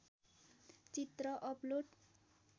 चित्र अपलोड